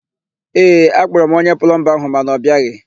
Ee, akpọrọ m onye plọmba áhụ̀ mana ọ bịaghị.